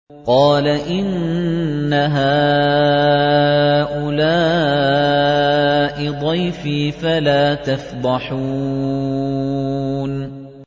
قَالَ إِنَّ هَٰؤُلَاءِ ضَيْفِي فَلَا تَفْضَحُونِ